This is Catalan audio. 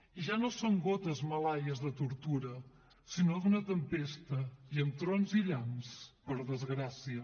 i ja no són gotes malaies de tortura sinó d’una tempesta i amb trons i llamps per desgràcia